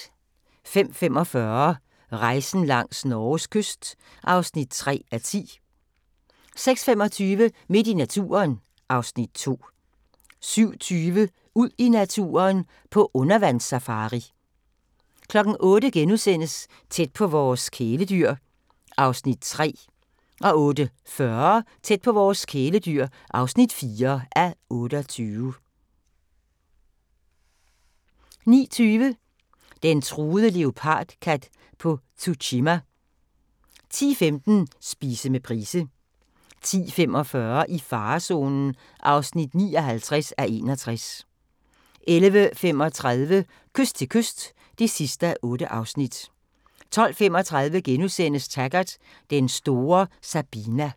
05:45: Rejsen langs Norges kyst (3:10) 06:25: Midt i naturen (Afs. 2) 07:20: Ud i naturen: På undervandssafari 08:00: Tæt på vores kæledyr (3:28)* 08:40: Tæt på vores kæledyr (4:28) 09:20: Den truede leopardkat på Tsushima 10:15: Spise med Price 10:45: I farezonen (59:61) 11:35: Kyst til kyst (8:8) 12:35: Taggart: Den store Sabina *